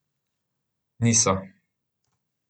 Niso!